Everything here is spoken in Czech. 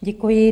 Děkuji.